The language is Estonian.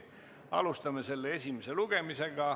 Alustame selle esimest lugemist.